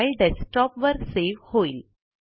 file desktop वर save होईल